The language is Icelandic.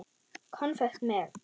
Konfekt með.